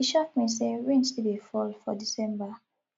e shock me sey rain still dey fall for december